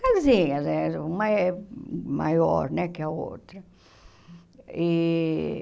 Casinhas, uma é maior né que a outra. E